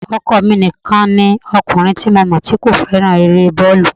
Ọkọ mi nìkan ni ọkùnrin tí mọ̀ tí kò fẹ́ràn eré bọ́ọ̀lù